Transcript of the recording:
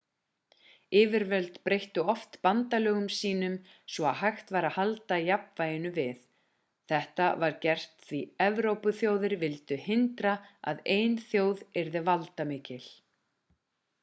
yfirvöld breyttu oft bandalögum sínum svo að hægt væri að halda jafnvæginu við þetta var gert því evrópuþjóðir vildu hindra að ein þjóð yrði valdamikil